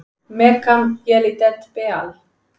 Melkam Yelidet Beaal!